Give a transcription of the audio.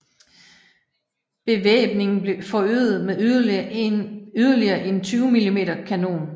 Bevæbningen blev forøget med yderligere en 20 mm kanon